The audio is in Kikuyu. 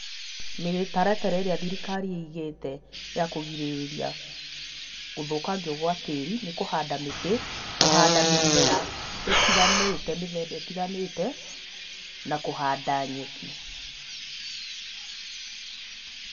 Mĩtaratara ĩrĩa thirikari ĩigĩte ya kũgirĩrĩria gũthũkangio gwa tĩĩri nĩ kũhanda mĩtĩ, kũhanda mĩmera ĩtiganĩte, mĩthemba ĩtiganĩte na kũhanda nyeki.